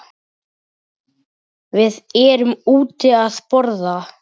Við erum úti að borða.